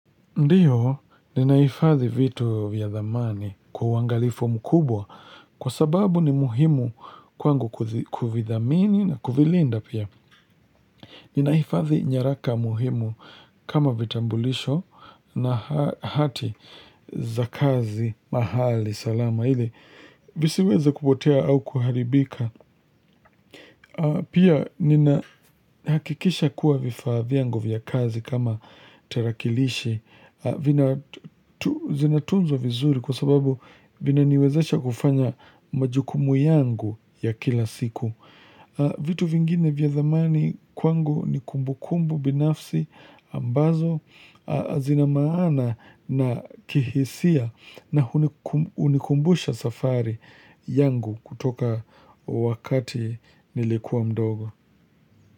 Ndiyo, ninaifadhi vitu vyadhamani kwa wangalifu mkubwa kwa sababu ni muhimu kwangu kufidhamini na kufilinda pia. Ninaifadhi nyaraka muhimu kama vitambulisho na hati za kazi mahali salama ili visiweza kupotea au kuharibika. Pia nina hakikisha kuwa vifaa viangu viya kazi kama tarakilishi. Zinatunzo vizuri kwa sababu vina niwezesha kufanya majukumu yangu ya kila siku. Vitu vingine vya damani kwangu ni kumbu kumbu binafsi ambazo zina maana na kihisia na unikumbusha safari yangu kutoka wakati nilikuwa mdogo.